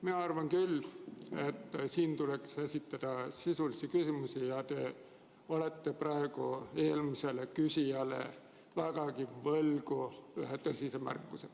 Mina arvan, et siin tuleks esitada sisulisi küsimusi, ja leian, et te olete praegu eelmisele küsijale vägagi võlgu ühe tõsise märkuse.